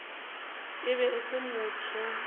e be e se motho